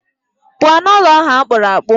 Pụọ n'ụlọ ahụ akpụrụ akpụ.